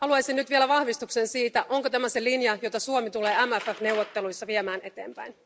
Haluaisin nyt vielä vahvistuksen siitä, onko tämä se linja, jota Suomi tulee MFF neuvotteluissa viemään eteenpäin?